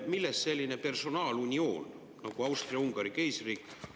Millest selline personaalunioon nagu Austria-Ungari keisririik?